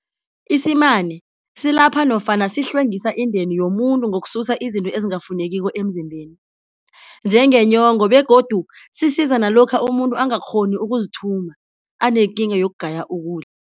Isimane silapha nofana sihlwengisa indeni yomuntu ngokususa izinto ezingafunekiko emzimbeni, njengenyongo begodu sisiza nalokha umuntu angakghoni ukuzithuma anekinga yokugaya ukudla